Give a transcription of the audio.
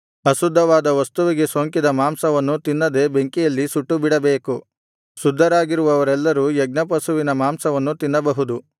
ಅಶುದ್ಧವಾದ ವಸ್ತುವಿಗೆ ಸೋಂಕಿದ ಮಾಂಸವನ್ನು ತಿನ್ನದೆ ಬೆಂಕಿಯಲ್ಲಿ ಸುಟ್ಟುಬಿಡಬೇಕು ಶುದ್ಧರಾಗಿರುವವರೆಲ್ಲರೂ ಯಜ್ಞಪಶುವಿನ ಮಾಂಸವನ್ನು ತಿನ್ನಬಹುದು